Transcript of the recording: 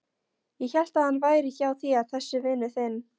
Ég hélt að hann væri hjá þér þessi vinur þinn.